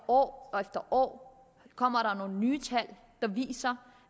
år efter år kommer nye tal der viser